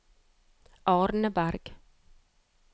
Arneberg